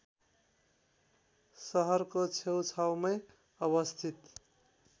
शहरको छेउछाउमै अवस्थित